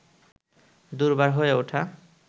দুর্বার হয়ে ওঠা